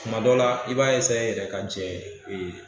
Kuma dɔ la i b'a yɛrɛ ka Jɛn